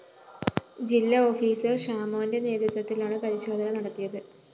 ജില്ലാ ഓഫീസർ ഷാമോന്റെ നേതൃത്വത്തിലാണ് പരിശോധന നടത്തിയത്